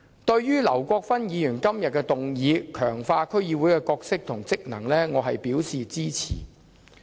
對於劉國勳議員提出"強化區議會的角色及職能"議案，我表示支持。